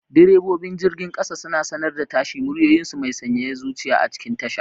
Direbobin jirgin kasa suna sanar da tashi, muryoyinsu mai sanyaya zuciya a cikin tasha.